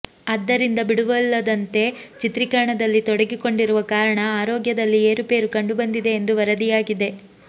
ಆದ್ದರಿಂದ ಬಿಡುವಿಲ್ಲದಂತೆ ಚಿತ್ರೀಕರಣದಲ್ಲಿ ತೊಡಗಿಕೊಂಡಿರುವ ಕಾರಣ ಆರೋಗ್ಯದಲ್ಲಿ ಏರುಪೇರು ಕಂಡುಬಂದಿದೆ ಎಂದು ವರದಿಯಾಗಿದೆ